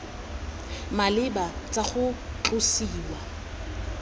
di maleba tsa go tlosiwa